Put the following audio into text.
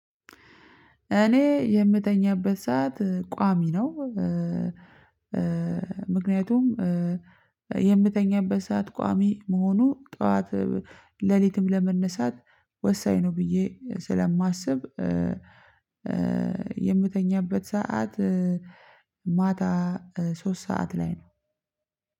እኔ የምተኛበት ሰዓት ቋሚ ነው። ምክንያቱም የምተኛበት ሰዓት ቋሚ መሆኑ ጠዋት ሌሊትም ለመነሳት ወሳኝ ነው። ብዬ ስለማስብ የምተኛበት ሰዓት ማታ ሶስት ሰዓት ላይ ነው።